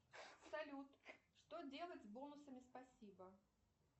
салют что делать с бонусами спасибо